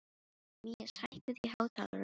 Mías, hækkaðu í hátalaranum.